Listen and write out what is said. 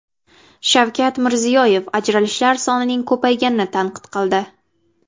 Shavkat Mirziyoyev ajralishlar sonining ko‘payganini tanqid qildi.